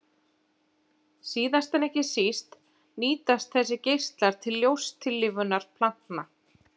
Síðast en ekki síst nýtast þessir geislar til ljóstillífunar plantna.